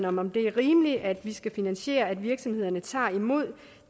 om det er rimeligt at vi skal finansiere at virksomhederne tager imod